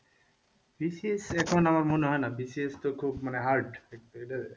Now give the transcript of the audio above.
BCS আমার মনে হয় না BCS তো খুব hard,